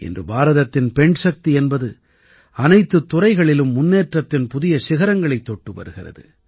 இன்று பாரதத்தின் பெண்சக்தி என்பது அனைத்துத் துறைகளிலும் முன்னேற்றத்தின் புதிய சிகரங்களைத் தொட்டு வருகிறது